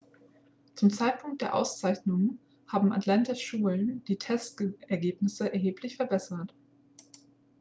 zum zeitpunkt der auszeichnung haben atlantas schulen die testergebnisse erheblich verbessert